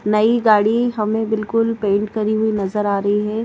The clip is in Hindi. नई गाड़ी हमें बिल्कुल पेंट करी हुई नजर आ रही है।